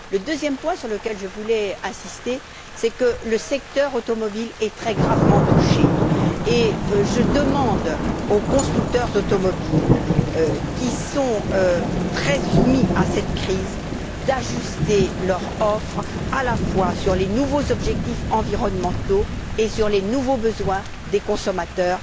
Le deuxième point sur lequel je voudrais insister, c'est que le secteur automobile est très gravement touché, et je demande aux constructeurs automobiles, qui ressentent durement la crise, d'ajuster leur offre à la fois sur les nouveaux objectifs environnementaux et sur les nouveaux besoins des consommateurs.